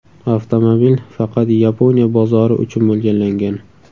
Avtomobil faqat Yaponiya bozori uchun mo‘ljallangan.